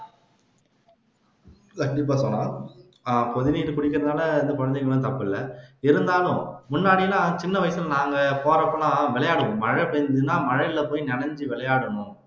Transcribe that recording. கொதிநீர் குடிக்கிறதால எந்த குழந்தைகளும் தப்பில்லை இருந்தாலும் முன்னாடி எல்லாம் சின்ன வயசுல நாங்க போறப்ப எல்லாம் விளையாடுவோம் மழை பெயஞ்சுதுன்னா மழைலபோய் நனைஞ்சு விளையாடனும்